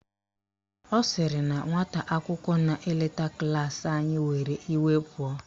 Ọ sịrị na nwata akwụkwọ na-eleta klaasị anyị were iwe pụọ.